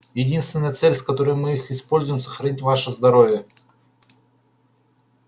единственная цель с которой мы их используем сохранить ваше здоровье